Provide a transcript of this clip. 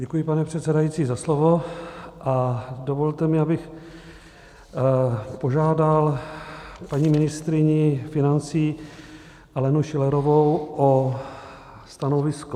Děkuji, pane předsedající, za slovo a dovolte mi, abych požádal paní ministryni financí Alenu Schillerovou o stanovisko.